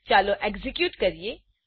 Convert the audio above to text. ચાલો એક્ઝેક્યુટ કરીએ